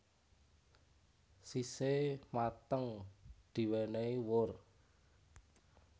Sise mateng diwenehi wur